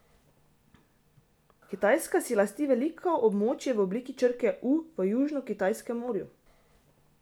Kitajska si lasti veliko območje v obliki črke U v Južnokitajskem morju.